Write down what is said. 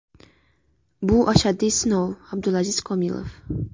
Bu ashaddiy sinov” Abdulaziz Komilov.